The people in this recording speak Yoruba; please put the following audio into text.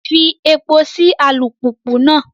Fí èpo sí alupupu náà!